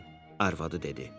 arvadı dedi.